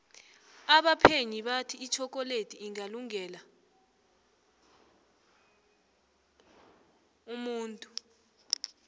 abaphenyi bathi itjhokoledi ingalunge la umuntu